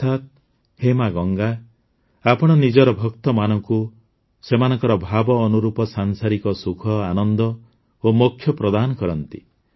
ଅର୍ଥାତ ହେ ମା ଗଙ୍ଗା ଆପଣ ନିଜର ଭକ୍ତମାନଙ୍କୁ ସେମାନଙ୍କ ଭାବ ଅନୁରୂପ ସାଂସାରିକ ସୁଖ ଆନନ୍ଦ ଓ ମୋକ୍ଷ ପ୍ରଦାନ କରନ୍ତି